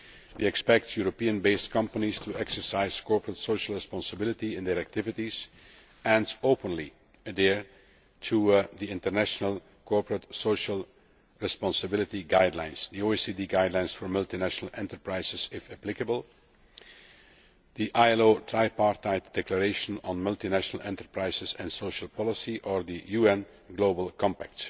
We expect Europe based companies to exercise corporate social responsibility in their activities and openly adhere to the international corporate social responsibility guidelines, the OECD Guidelines for Multinational Enterprises if applicable, the ILO Tripartite Declaration on Multinational Enterprises and Social Policy, or the UN Global Compact.